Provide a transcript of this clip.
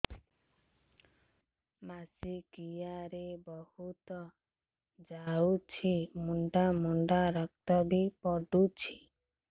ମାସିକିଆ ରେ ବହୁତ ଯାଉଛି ମୁଣ୍ଡା ମୁଣ୍ଡା ରକ୍ତ ବି ପଡୁଛି